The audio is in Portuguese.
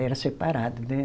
Era separado, né?